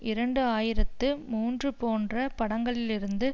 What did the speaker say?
இரண்டு ஆயிரத்து மூன்று போன்ற படங்களிலிருந்து